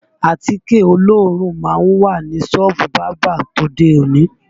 Àtíkè olóòórùn má ń wà ní sọ́ọ̀bù bábà tòde òní